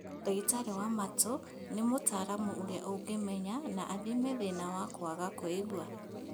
Ndagĩtarĩ wa matũ nĩ mũtaramu ũrĩa ũngĩmenya na athime thĩna wa kwaga kũigua